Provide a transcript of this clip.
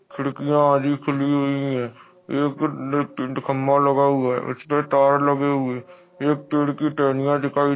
खिड़कियां आधी खुली हुई है पर टंगी हुई है एक खंबा लगा हुआ है उसपे तार हुए एक पेड़ की टहनियाँ दिखाई--